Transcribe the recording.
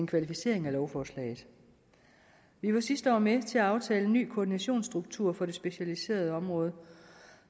kvalificeret lovforslaget vi var sidste år med til at aftale en ny koordinationsstruktur for det specialiserede område